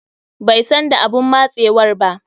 Bai san da abun matsewar ba.